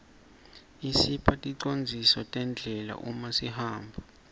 isipha ticondziso terdlela umasihamba